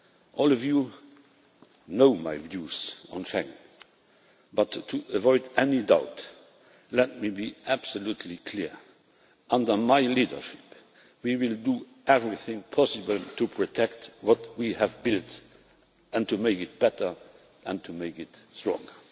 All of you know my views on Schengen, but to avoid any doubt, let me be absolutely clear under my leadership we will do everything possible to protect what we have built, and to make it better and stronger.